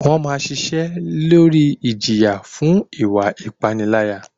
Wọ́n máa ṣiṣẹ́ lórí ìjìyà fún ìwa ìpániláyà.